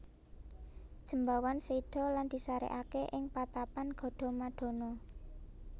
Jembawan séda lan disarèkaké ing patapan Gadamadana